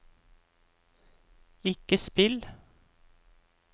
ikke spill